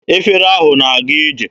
Efere ahụ na-aga ije.